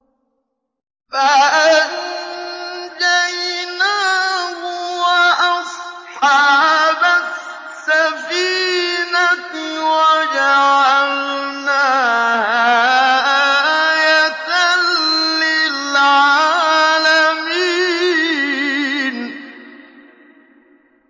فَأَنجَيْنَاهُ وَأَصْحَابَ السَّفِينَةِ وَجَعَلْنَاهَا آيَةً لِّلْعَالَمِينَ